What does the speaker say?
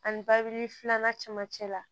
Ani babili filanan cɛmancɛ la